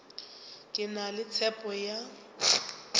ke na le tshepo ya